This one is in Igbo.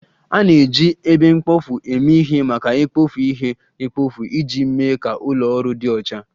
A na-eji ebe mkpofu eme ihe maka ikpofu ihe mkpofu iji mee ka ụlọ ọrụ dị ọcha